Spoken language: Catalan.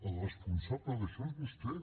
el responsable d’això és vostè